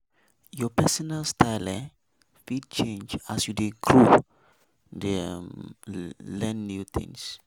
Your personal style um fit change as you dey grow dey um learn new things.